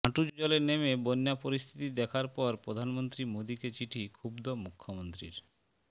হাঁটু জলে নেমে বন্যা পরিস্থিতি দেখার পর প্রধানমন্ত্রী মোদীকে চিঠি ক্ষুব্ধ মুখ্যমন্ত্রীর